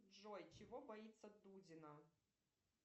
джой чего боится дудина